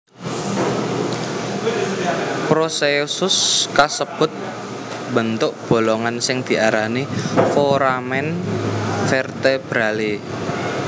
Procesus kasebut mbentuk bolongan sing diarani foramen vertebrale